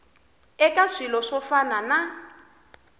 eka swilo swo fana na